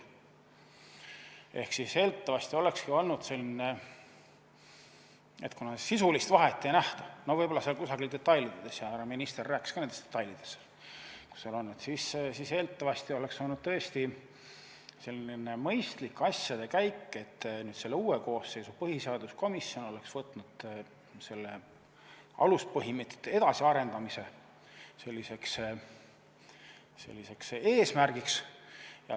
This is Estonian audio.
Ehk eeldatavasti, kuna sisulist vahet ei nähta – võib-olla see on kusagil detailides, härra minister rääkis ka nendest detailidest –, oleks olnud tõesti mõistlik asjade käik see, et uue koosseisu põhiseaduskomisjon oleks võtnud aluspõhimõtete edasiarendamise eesmärgiks.